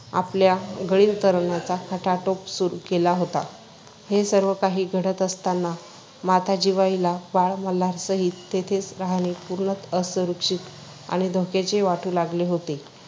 आपल्या गैर करण्याचा खटाटोप सुरु केला होता. हे सर्व काही घडत असताना माता जिवाईला बाळ मल्हारसहित तेथे राहणे पूर्णत असुरक्षित आणि धोक्याचे वाटू लागले होते